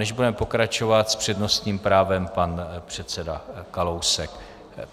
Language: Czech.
Než budeme pokračovat, s přednostním právem pan předseda Kalousek.